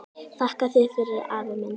Þakka þér fyrir, afi minn.